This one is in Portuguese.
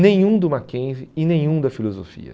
Nenhum do Mackenzie e nenhum da filosofia.